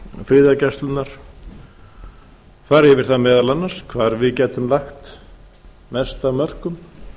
friðargæslunnar fara yfir það meðal annars hvar við getum lagt mest af mörkum